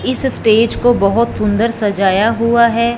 इस स्टेज को बहोत सुंदर सजाया हुआ है।